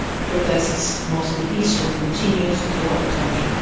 protests, mostly peaceful, continued throughout the country.